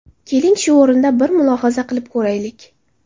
Keling, shu o‘rinda bir mulohaza qilib ko‘raylik.